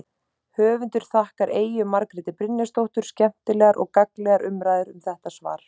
Höfundur þakkar Eyju Margréti Brynjarsdóttur skemmtilegar og gagnlegar umræður um þetta svar.